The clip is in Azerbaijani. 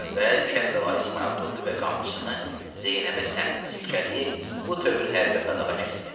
Əvvəl Kərbəlayı İsmayıl durdu və qamçısını Zeynəbə səmt silkələyib bu tövür hərbə qadağa kəsdi.